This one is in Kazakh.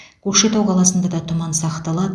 көкшетау қаласында да тұман сақталады